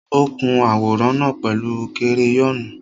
Ó kun àwòrán náà pẹ̀lú kereyọ́nù.